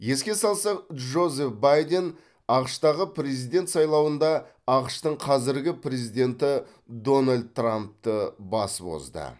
еске салсақ джозеф байден ақш тағы президент сайлауында ақш тың қазіргі президенті дональд трампты басып озды